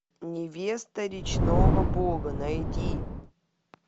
невеста речного бога найди